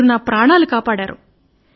మీరు నా ప్రాణం కాపాడారు